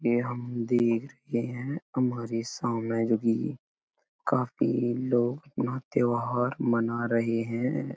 ये हम देख चुके हैं। हमारे सामने जोकि काफी लोग अपना त्योहार मना रहे हैं।